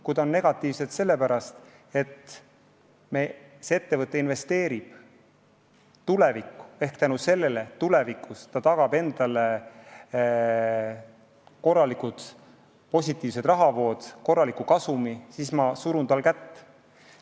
Kui need on negatiivsed sellepärast, et ettevõte investeerib tulevikku ja tänu sellele ta tulevikus tagab endale korralikud rahavood, korraliku kasumi, siis ma surun tal kätt.